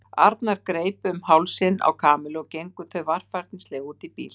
Arnar greip utan um hálsinn á Kamillu og þau gengu varfærnislega út í bíl.